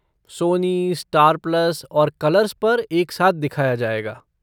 Soni, Star Plus, और Colors पर एक साथ दिखाया जाएगा।